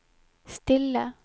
stille